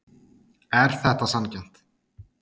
Er þetta sanngjarnt?